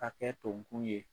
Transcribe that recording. Hakɛ don ku ye